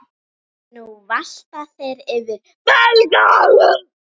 Nú valta þeir yfir Belga.